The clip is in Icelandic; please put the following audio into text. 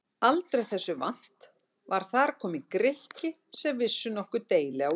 Aldrei þessu vant var þar kominn Grikki sem vissi nokkur deili á Íslandi!